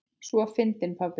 Svo fyndinn pabbi!